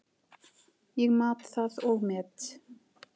Ég mat það og met.